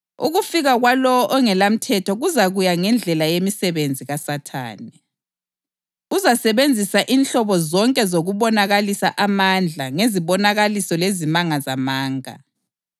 Ukufika kwalowo ongelamthetho kuzakuya ngendlela yemisebenzi kaSathane. Uzasebenzisa inhlobo zonke zokubonakalisa amandla ngezibonakaliso lezimanga zamanga